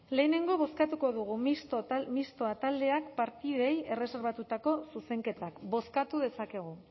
lehenengo bozkatuko dugu mistoa taldeak partidei erreserbatutako zuzenketak bozkatu dezakegu